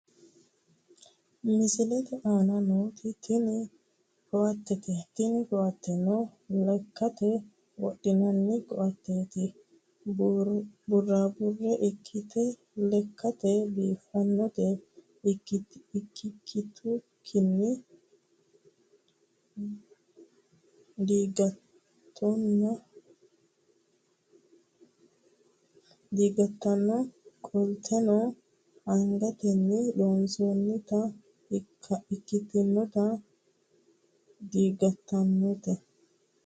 Misilete aana nooti tini koattete tini koattenno lekkate wodhinanni koatteeti buraabburre iikkite lekkate biiffannota ikkitukkinni digattanno qolteno angatenni loonsoonnita ikkitukkinni digattanno.